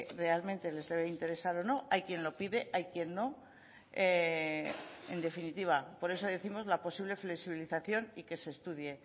realmente les debe interesar o no hay quien lo pide hay quien no en definitiva por eso décimos la posible flexibilización y que se estudie